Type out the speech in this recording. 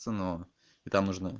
это